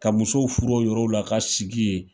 Ka musow furu yɔrɔw la ka sigi yen.